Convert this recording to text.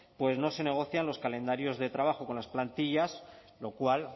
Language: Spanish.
no se negocian los calendarios de trabajo con las plantillas lo cual